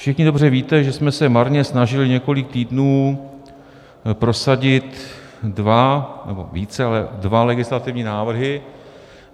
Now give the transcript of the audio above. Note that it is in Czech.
Všichni dobře víte, že jsme se marně snažili několik týdnů prosadit dva nebo více, ale dva legislativní návrhy.